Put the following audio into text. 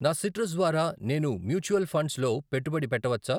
నా సిట్రస్ ద్వారా నేను మ్యూచువల్ ఫండ్స్ లో పెట్టుబడి పెట్టవచ్చా?